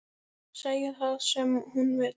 Segja það sem hún vildi.